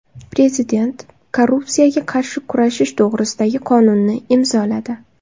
Prezident korrupsiyaga qarshi kurashish to‘g‘risidagi qonunni imzoladi .